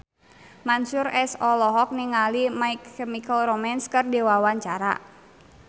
Mansyur S olohok ningali My Chemical Romance keur diwawancara